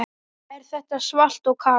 Er þetta svalt og kalt?